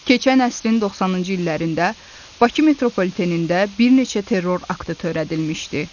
Keçən əsrin 90-cı illərində Bakı Metropolitenində bir neçə terror aktı törədilmişdi.